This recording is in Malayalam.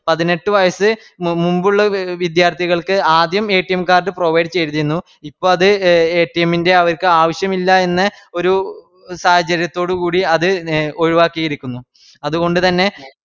പതിനെട്ട് വയസ്സ് മുമ്പുളള വിദ്യാര്ത്ഥികള്ക്ക് ആദ്യം Card provide ചെയ്തിരുന്നു ഇപ്പൊഅത് ൻറെ അവർക്ക് ആവശ്യം ഇല്ലാ എന്ന് ഒര് സാഹചര്യത്തോടുകൂടിഅത് ഒഴിവാക്കിയിരിക്കുന്നു അതുകൊണ്ട്തന്നെ